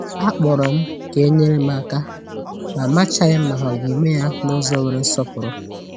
A kpọrọ m ka e nyere m aka, ma amachaghị m ma ha ga-eme ya n’ụzọ nwere nsọpụr.